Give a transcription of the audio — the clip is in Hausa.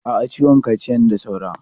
A'a, ciwon kaciyan da saura.